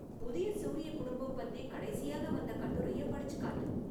புதிய சூரிய குடும்பம் பத்தி கடைசியாக வந்த கட்டுரைய படிச்சுக் காட்டு